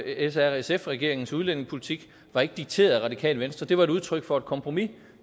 srsf regeringens udlændingepolitik var ikke dikteret af radikale venstre det var et udtryk for et kompromis